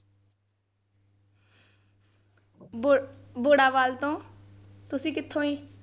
ਬੁ ਬੁੜਾਵਾਲ ਤੋਂ ਤੁਸੀਂ ਕਿੱਥੋਂ ਜੀ?